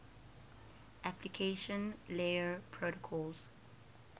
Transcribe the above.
application layer protocols